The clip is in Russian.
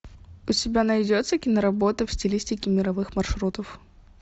у тебя найдется киноработа в стилистике мировых маршрутов